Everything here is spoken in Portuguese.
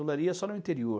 Olaria é só no interior.